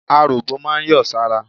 Aròbó máa ń yọ̀ sára.